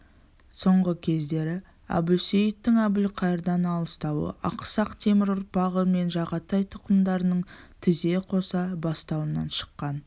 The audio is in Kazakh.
соңғы кездері әбусейіттің әбілқайырдан алыстауы ақсақ темір ұрпағы мен жағатай тұқымдарының тізе қоса бастауынан шыққан